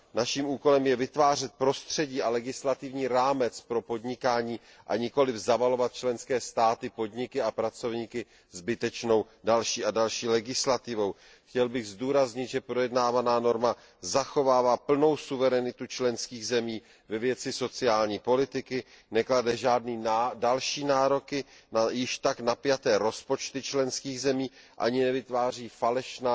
Naším úkolem je vytvářet prostředí a legislativní rámec pro podnikání, a nikoliv zavalovat členské státy, podniky a pracovníky zbytečnou další a další legislativou. Chtěl bych zdůraznit, že projednávaná norma zachovává plnou suverenitu členských zemí ve věci sociální politiky, neklade žádné další nároky na již tak napjaté rozpočty členských zemí ani nevytváří falešná,